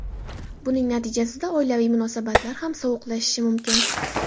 Buning natijasida oilaviy munosabatlar ham sovuqlashishi mumkin.